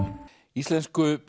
íslensku